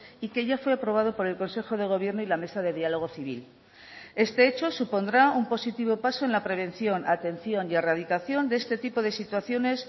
y que ya fue aprobado por el consejo de gobiernoy la mesa de diálogo civil este hecho supondrá un positivo paso en la prevención atención y erradicación de este tipo de situaciones